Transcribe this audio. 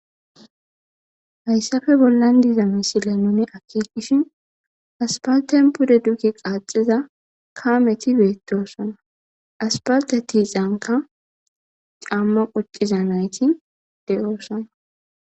Hayisappe bolan diza missilen nuni akekishin asipalten pude duge qaxida kameti betosona asipalte tisanika cama quciza nayiti deosona.